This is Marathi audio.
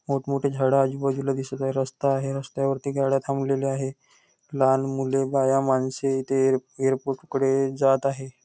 मोठ मोठी झाडं आजूबाजूला दिसत आहे रास्ता आहे रस्त्यावर गाड्या थांबलेल्या आहेत लहान मुले बाया माणसे इथे एयर एयरपोर्ट कडे जात आहे.